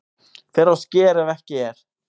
Fer á sker ef ekki er